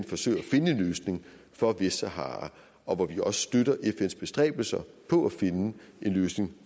forsøger at finde en løsning for vestsahara og hvor støtter fns bestræbelser på at finde en løsning